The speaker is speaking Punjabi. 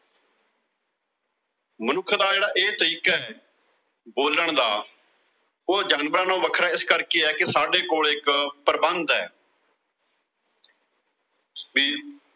ਮਨੁੱਖ ਦਾ ਜਿਹੜਾ ਇਹ ਤਰੀਕਾਬੋਲਣ ਦਾ, ਉਹ ਜਾਨਵਰਾਂ ਨਾਲੋਂ ਵੱਖਰਾ ਇਸ ਕਰਕੇ ਆ ਕਿ ਸਾਡੇ ਕੋਲ ਇੱਕ ਪ੍ਰਬੰਧ ਆ